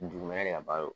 Dugumɛnɛ de ka baara